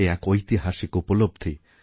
এ একঐতিহাসিক উপলব্ধি